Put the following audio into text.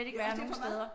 Undskyld mig hvad?